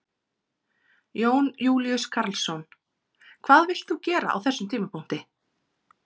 Jón Júlíus Karlsson: Hvað vilt þú gera á þessum tímapunkti?